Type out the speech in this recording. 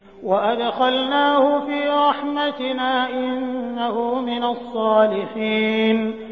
وَأَدْخَلْنَاهُ فِي رَحْمَتِنَا ۖ إِنَّهُ مِنَ الصَّالِحِينَ